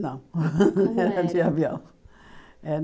Não, Como era Era de avião.